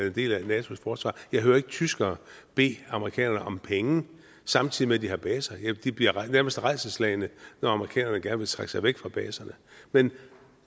en del af natos forsvar jeg hører ikke tyskere bede amerikanerne om penge samtidig med at de har baser de bliver nærmest rædselsslagne når amerikanerne gerne vil trække sig væk fra baserne men